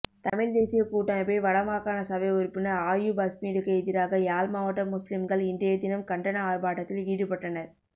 தமிழ்த் தேசியக் கூட்டமைப்பின் வடமாகாணசபை உறுப்பினர் அயூப் அஸ்மினுக்கு எதிராக யாழ் மாவட்ட முஸ்லிம்கள் இன்றையதினம் கண்டன ஆர்ப்பாட்டத்தில் ஈடுபட்டனர்